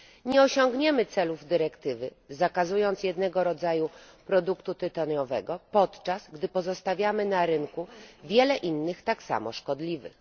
Nie osiągniemy celów dyrektywy, zakazując jednego rodzaju produktu tytoniowego, podczas gdy pozostawiamy na rynku wiele innych tak samo szkodliwych.